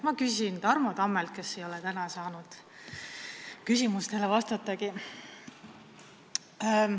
Ma küsin Tarmo Tammelt, kes ei ole täna saanud küsimustele vastata.